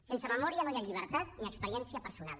sense memòria no hi ha llibertat ni experiència personal